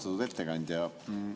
Austatud ettekandja!